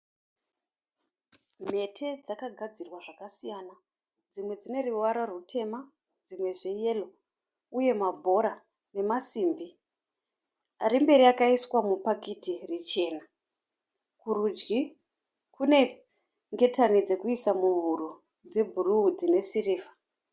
Mhete dzakagadzirwa zvakasiyana. Dzimwe dzine ruvara rutema dzimwe zveyero uye mabhora nemasimbi. Ari mberi akaiswa mupakiti richena. Kurudyi kune ngetani dzokuisa muhuro dzebhuruu dzinesirivha.